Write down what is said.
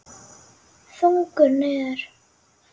Þungur niður.